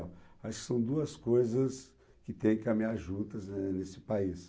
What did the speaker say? Acho que são duas coisas que têm que caminhar juntas, né, nesse país.